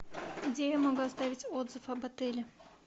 где я могу оставить отзыв об отеле